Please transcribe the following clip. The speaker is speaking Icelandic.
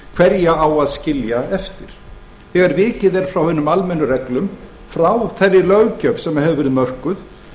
hverja á að skilja eftir þegar vikið er frá hinum almennu reglum frá þeirri löggjöf sem hefur verið mörkuð